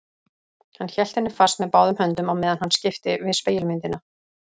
Hann hélt henni fast með báðum höndum á meðan hann skipti við spegilmyndina.